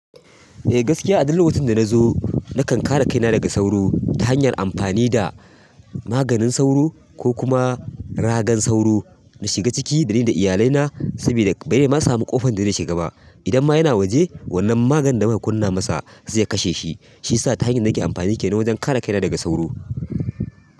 Eh gaskiya a duk lokacin da na zo nakan kare kaina daga sauro ta hanyar amfani da maganin sauro ko kuma ragan sauro na shiga ciki da ni da iyalai na sabida bare ma samu ƙofan da ze shigaba. Idan ma yana waje wannan maganin da zan kunna masa zai kashe shi. Shiyasa ta hanyar da nake amfani kenan wajen kare kaina daga sauro.